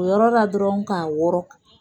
O yɔrɔ dɔrɔnw k'a wɔrɔ